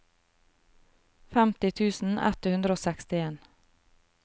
femti tusen ett hundre og sekstien